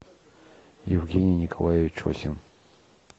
евгений николаевич осин